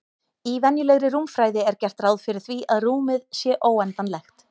Í venjulegri rúmfræði er gert ráð fyrir því að rúmið sé óendanlegt.